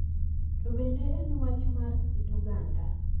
To bende en wach mar kit oganda,